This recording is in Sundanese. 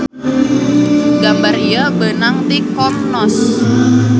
Gambar ieu beunang ti commons.